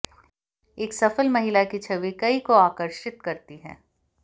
एक सफल महिला की छवि कई को आकर्षित करती है